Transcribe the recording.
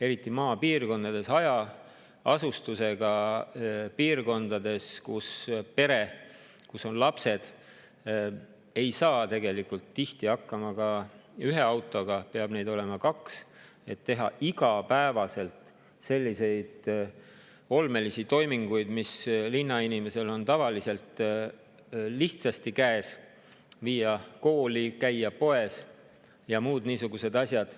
Eriti maapiirkondades, hajaasustusega piirkondades, ei saa pere, kus on lapsed, tihti hakkama ühe autoga, seal peab neid olema kaks, et teha igapäevaseid olmelisi toiminguid, mis linnainimesele on tavaliselt lihtsasti käes – viia kooli, käia poes ja muud niisugused asjad.